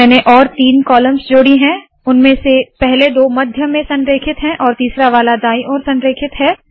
मैंने और तीन कॉलम्स जोड़ी है उनमें से पहले दो मध्य में संरेखित है और तीसरा वाला दाईं ओर संरेखित है